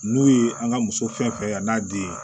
N'u ye an ka muso fɛn fɛn a n'a den